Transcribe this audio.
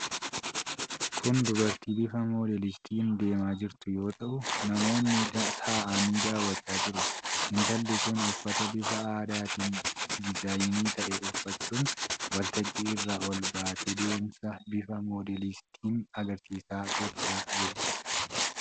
Kun dubartii bifa moodeelistiitiin deemaa jirtu yoo ta'u, namoonni taa'anii daawwachaa jiru. Intalli kun uffata bifa addaatiin diizaayin ta'ee uffachuun waltajjii irra ol baatee deemsa bifa moodeelingiitin agarsiisa gochaa jirti.